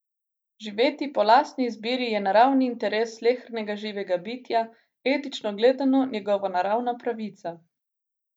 Živeti po lastni izbiri je naravni interes slehernega živega bitja, etično gledano njegova naravna pravica.